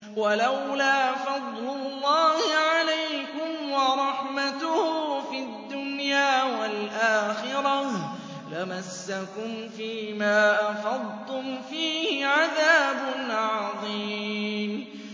وَلَوْلَا فَضْلُ اللَّهِ عَلَيْكُمْ وَرَحْمَتُهُ فِي الدُّنْيَا وَالْآخِرَةِ لَمَسَّكُمْ فِي مَا أَفَضْتُمْ فِيهِ عَذَابٌ عَظِيمٌ